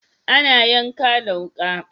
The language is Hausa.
Ana yanka da wuka.